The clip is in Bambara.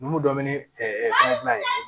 Numu dɔ bɛ ne fɛngɛ n'a ye